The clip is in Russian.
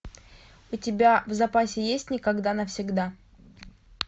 у тебя в запасе есть никогда навсегда